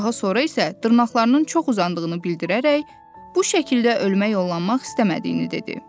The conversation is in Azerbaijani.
Daha sonra isə dırnaqlarının çox uzandığını bildirərək bu şəkildə ölmək yollanmaq istəmədiyini dedi.